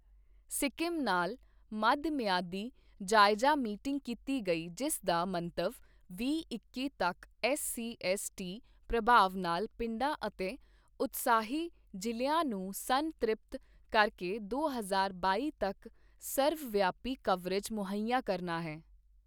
ਸਿੱਕਮ ਨਾਲ ਮਧ ਮਿਆਦੀ ਜਾਇਜਾ ਮੀਟਿੰਗ ਕੀਤੀ ਗਈ ਜਿਸ ਦਾ ਮੰਤਵ ਵੀਹ-ਇੱਕੀ ਤੱਕ ਐੱਸ ਸੀ ਐੱਸ ਟੀ ਪ੍ਰਭਾਵ ਨਾਲ ਪਿੰਡਾਂ ਅਤੇ ਉਤਸ਼ਾਹੀ ਜ਼ਿਲ੍ਹਿਆਂ ਨੂੰ ਸੰਨ-ਤ੍ਰਿਪਤ ਕਰਕੇ ਦੋ ਹਜ਼ਾਰ ਬਾਈ ਤੱਕ ਸਰਵ ਵਿਆਪੀ ਕਰਵੇਜ ਮੁਹੱਈਆ ਕਰਨਾ ਹੈ